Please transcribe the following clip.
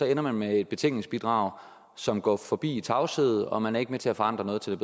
ender man med et betænkningsbidrag som går forbi det i tavshed og man er ikke med til at forandre noget til